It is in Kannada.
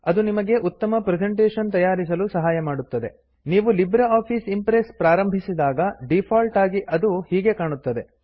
ಅದು ನಿಮಗೆ ಉತ್ತಮ ಪ್ರೆಜೆಂಟೇಶನ್ ತಯಾರಿಸಲು ಸಹಾಯ ಮಾಡುತ್ತದೆ ನೀವು ಲೈಬ್ರೆ ಆಫಿಸ್ ಇಂಪ್ರೆಸ್ ಪ್ರಾರಂಭಿಸಿದಾಗ ಡೀಫಾಲ್ಟ್ ಆಗಿ ಅದು ಹೀಗೆ ಕಾಣುತ್ತದೆ